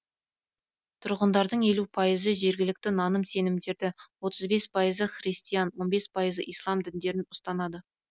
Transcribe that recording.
тұрғындарының елу пайызы жергілікті наным сенімдерді отыз бес пайызы христиан он бес пайызы ислам діндерін ұстанады